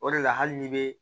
O de la hali n'i bɛ